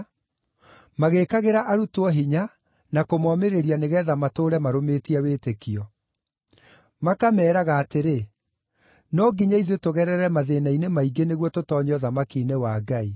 magĩĩkagĩra arutwo hinya na kũmomĩrĩria nĩgeetha matũũre marũmĩtie wĩtĩkio. Makameeraga atĩrĩ, “No nginya ithuĩ tũgerere mathĩĩna-inĩ maingĩ nĩguo tũtoonye ũthamaki-inĩ wa Ngai.”